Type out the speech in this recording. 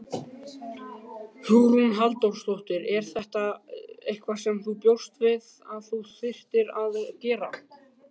Hugrún Halldórsdóttir: Er þetta eitthvað sem þú bjóst við að þú þyrftir að gera?